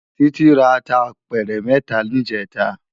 Titi rá àtá àpèrè mètá nijètá